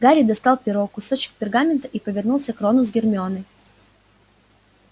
гарри достал перо кусочек пергамента и повернулся к рону с гермионой